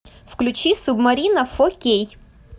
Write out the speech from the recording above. включи субмарина фо кей